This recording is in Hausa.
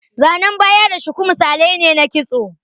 Zanan baya da shuku misalai ne na kitso.